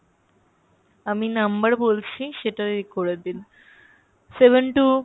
আমি number বলছি সেটা এই করে দিন seven two